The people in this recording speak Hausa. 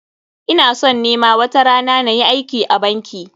Ina son ni ma watarana na yi aiki a banki.